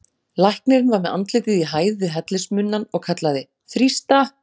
Læknirinn var með andlitið í hæð við hellismunnann og kallaði: þrýsta!